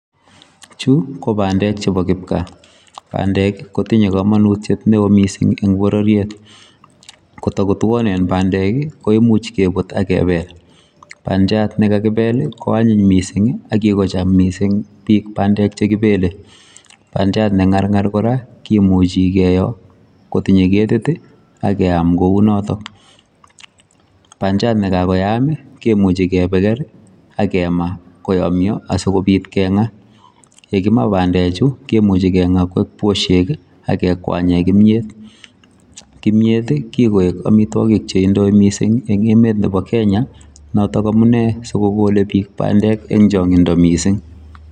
Chu, ko bandek chebo kipkaa. Bandek kotinye komonutiet neoo missing eng' bororiet. Ko takotuonen bandek, koimuch kebut, akebel. Bandiat ne kakibel, koanyiny missing, akikocham missing biik bandek che kibele. Bandiat ne ng'ar ng'ar kora, kimuchi keoo, kotinye ketit, akeam kounotok. Bandiat ne kakoyaam, kimuche kepeker, akemaa, koyomyo, asikobit keng'aa. Yekimaa bandek chu, kemuchi keng'aa koek boshek, akekwanye kimyet. Kimyet, kikoek amitwogik che indoi missing, eng' emet nebo Kenya, notok amune sikogole biik bandek eng' changindo missing.